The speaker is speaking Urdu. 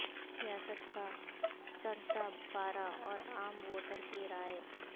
سیاست کا چڑھتا پارہ اور عام ووٹر کی رائے